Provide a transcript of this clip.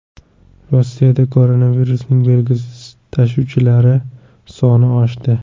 Rossiyada koronavirusning belgisiz tashuvchilari soni oshdi.